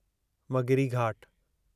मग़िरी घाट